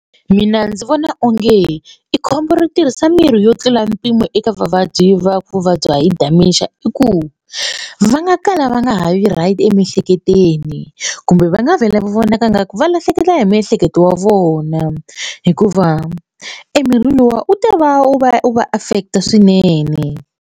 Mina ndzi vona onge i khombo ro tirhisa mirhi yo tlula mpimo eka vavabyi va vuvabyi hi dementia i ku va nga kala va nga ha vi right emiehleketweni kumbe va nga vhela vonaka ingaku va lahlekela hi miehleketo wa vona hikuva emirhi luwa u ta va wu va wu va affect-a swinene.